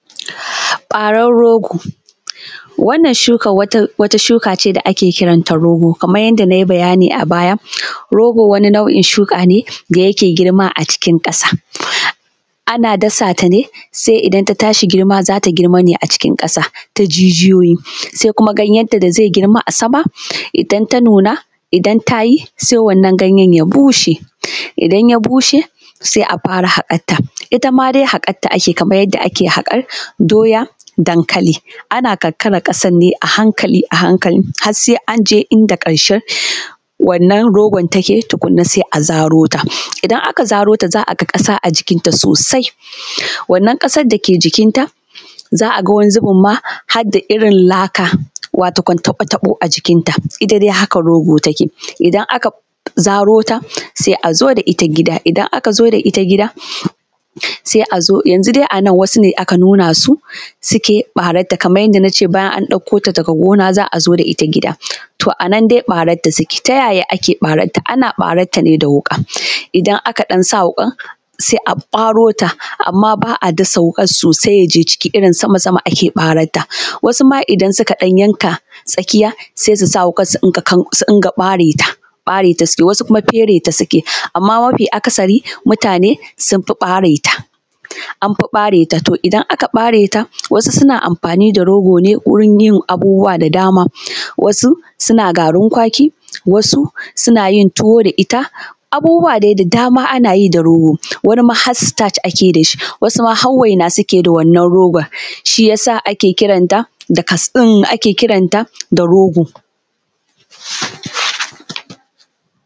Barar rogo, wannan shuka wata shuka ce da ake kiranta rogo kaman yanda na yi bayani a baya rogo wani nau’in shuka ne da yake girma a cikin ƙasa, ana dasa ta ne sai idan ta tashi girma za ta girma ne a cikin ƙasa ta jijiyoyi sai kuma ganyenta da zai yi kuma a sama. Idan ta nuna idan kuma ta yi ganyen ya bushe, idan ya bushe sai a fara, haka ta ita ma dai haƙarta ake yi kamar yarda ake hakar doya, dankali ana ƙanƙakar ƙasar ne a hankali a hankali har sai an je inda wannan rogon yake tukunna sai a zaro ta, idan aka zaro ta za a ga ƙasa a jikinta sosai wannan ƙasan da ke jikinta za a ga wani zubin ma har da irin laka. Wato kam taɓo-taɓo a jikinta, ita dai haka rogo take idan aka zaro ta sai a zo da ita gida a idan aka zo da ita gida, sai a zo yanzun dai a nan wasu ne aka nuna su suke ɓararta kamar yadda na ce bayan an ɗauko ta daga gona za a zo da ita gida. To, a nan dai ɓararta suke ta ya ake ɓararta? Ana ɓararta ne da wuka idan aka ɗan sa wuƙan sai a ɓaro ta, amma ba a dasa wuƙar sosai ya je jiki irin sama-sama ake ɓararta, wasu ma idan suka ɗan yanka tsakiya sai su sa wuƙan surinƙa ɓare ta, ɓare ta suke, wasu kuma fere ta suke amma mafi’akasari mutane sun fi ɓare ta, an fi ɓare ta. To, idan aka ɓare ta wasu suna amfani da rogo ne wurin yin abubuwa da dama wasu suna garinkwaki, wasu suna yin tuwo da ita, abubuwa dai da dama ana yi da rogo, wani ma har stach ake yi da shi, wasu ma har waina suke yi da wannan rogon, shi ya sa ake kiranta da rogo.